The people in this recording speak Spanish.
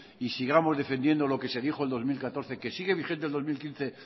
y sigamos defendiendo lo que se dijo el dos mil catorce que sigue vigente el dos mil quince